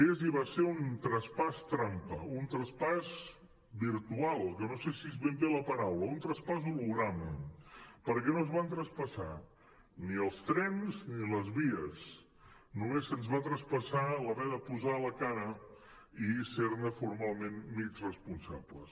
és i va ser un traspàs trampa un traspàs virtual que no sé si és ben bé la paraula un traspàs holograma perquè no es van traspassar ni els trens ni les vies només se’ns va traspassar haver de posar la cara i ser ne formalment mig responsables